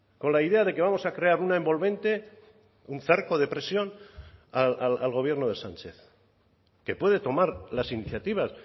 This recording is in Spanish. con la idea de que vamos a crear una envolvente un cerco de presión al gobierno de sánchez que puede tomar las iniciativas